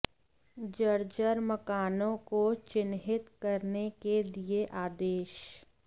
जर्जर मकानों को चिन्हित करने के दिये आदेश